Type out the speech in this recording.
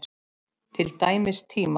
Til dæmis tíma.